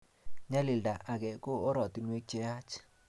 nyalilda age ko ortinwek cheyaach